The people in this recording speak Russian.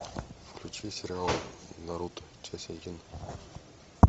включи сериал наруто часть один